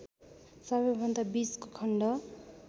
सबैभन्दा बीचको खण्ड